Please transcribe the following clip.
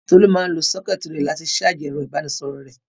Tolú máa ń lo sọ́kẹ́tì rẹ̀ láti ṣáájì ẹ̀rọ-ìbánisọ̀rọ̀ rẹ̀.